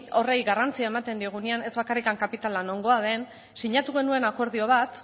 horri garrantzia ematen diogunean ez bakarrik kapitala nongoa den sinatu genuen akordio bat